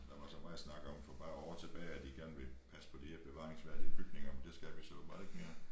Der var så meget snak om for bare år tilbage at de gerne ville passe på de her bevaringsværdige bygninger men det skal vi så åbenbart ikke mere